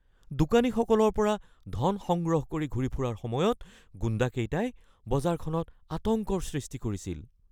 দোকানীসকলৰ পৰা ধন সংগ্ৰহ কৰি ঘূৰি ফুৰাৰ সময়ত গুণ্ডাকেইটাই বজাৰখনত আতংকৰ সৃষ্টি কৰিছিল।